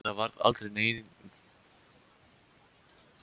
En það varð aldrei nema keimur af lykt.